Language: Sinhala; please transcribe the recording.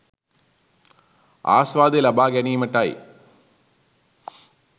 ආස්වාදය ලබා ගැනීමටයි.